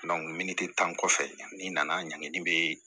minititan kɔfɛ n'i nana ɲangini bɛ